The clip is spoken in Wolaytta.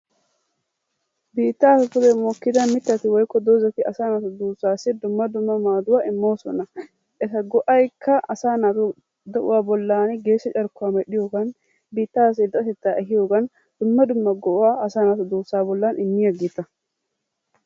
Biittappe pudde mokkida mittati woyikko doozatti asaa duussasi dumma dumma maaduwaa immossona. Etta go'yikka asaa naatu de'uwaa bollani geeshsha carkkuwaa medhdhiyoggan, biittasi irxattetta ehiyoogan, dumma dumma go'aa asaa naatu duussa bollan immiyaagetta.